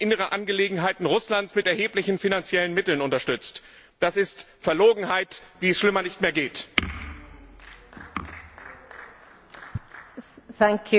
Before I give the floor to Mr Wałęsa for one and a half minutes, can I just repeat the announcement to the Chamber that we are not taking blue cards because of the time constraints on our debate.